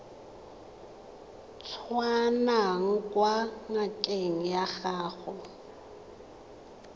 tswang kwa ngakeng ya gago